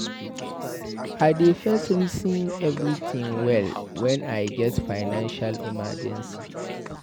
I dey first resin everytin well wen I get financial emergency.